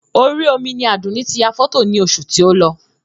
Orí omi ni Àdùnní ti yà fọ́tò ní oṣù tí o lọ